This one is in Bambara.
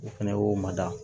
U fɛnɛ y'o mada